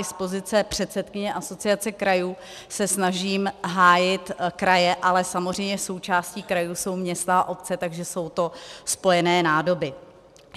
I z pozice předsedkyně Asociace krajů se snažím hájit kraje, ale samozřejmě součástí krajů jsou města a obce, takže jsou to spojené nádoby.